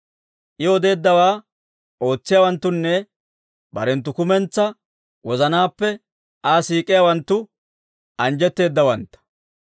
I odeeddawaa ootsiyaawanttunne barenttu kumentsaa wozanaappe Aa siik'iyaawanttu, anjjetteeddawantta.